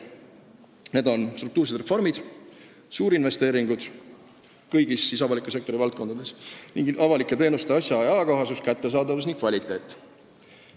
Need on järgmised: struktuursed reformid, suurinvesteeringud kõigis avaliku sektori valdkondades, avalike teenuste asja- ja ajakohasus, kättesaadavus ning kvaliteet.